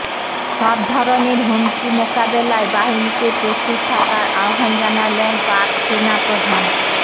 সব ধরণের হুমকি মোকাবেলায় বাহিনীকে প্রস্তুত থাকার আহ্বান জানালেন পাক সেনাপ্রধান